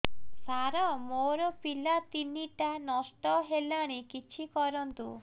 ସାର ମୋର ପିଲା ତିନିଟା ନଷ୍ଟ ହେଲାଣି କିଛି କରନ୍ତୁ